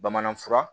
Bamanan fura